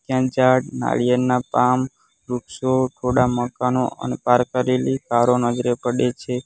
ત્રણ ચાર નાળિયેરના પામ વૃક્ષો થોડા મકાનો અને પાર્ક કરેલી કારો નજરે પડે છે.